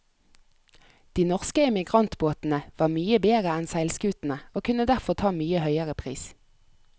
De norske emigrantbåtene var mye bedre en seilskutene og kunne derfor ta mye høyere pris.